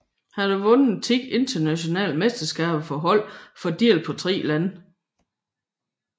Han har vundet 10 nationale mesterskaber for hold fordelt på tre lande